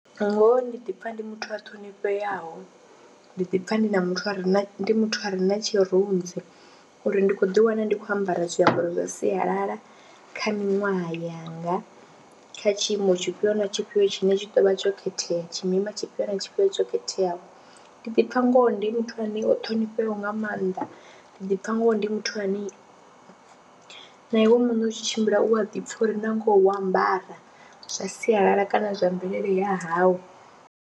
Ngoho ndi ḓi pfha ndi muthu a ṱhonifheaho, ndi ḓi pfha ndi na muthu a re na, ndi muthu a re na tshirunzi uri ndi khou ḓiwana ndi khou ambara zwiambaro zwa sialala kha minwaha yanga, kha tshiimo tshifhio na tshifhio tshine tshi tou vha tsho khethea, tshimima tshifhio na tshifhio tsho khetheaho. Ndi ḓi pfha ngoho ndi muthu ane o ṱhonifheaho nga maanḓa, ndi ḓi pfha ngoho ndi muthu ane na iwe muṋe u tshi tshimbila u a ḓi pfha uri na ngoho wo ambara zwa sialala kana zwa mvelele ya hau.